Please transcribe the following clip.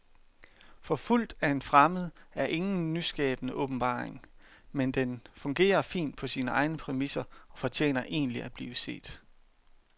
Forfulgt af en fremmed er ingen nyskabende åbenbaring, men den fungerer fint på sine egne præmisser og fortjener egentlig at blive set.